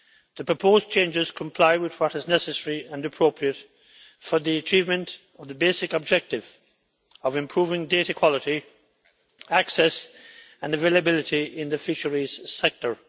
The proposed changes comply with what is necessary and appropriate for the achievement of the basic objective of improving data quality, access and availability in the fisheries sector.